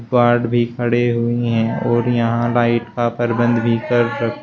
Guard भी खड़े हुई हैं और यहां लाइट का प्रबंध भी तक।